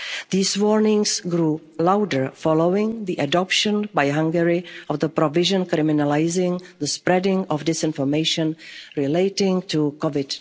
situation. These warnings grew louder following the adoption by Hungary of the provision criminalising the spreading of disinformation relating